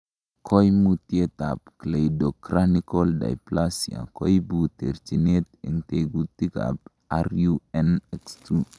Koimutietab Cleidocranial dysplasia koibu terchinet en tekutikab RUNX2 .